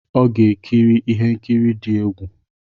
Ọ ga-ekiri ihe nkiri dị egwu.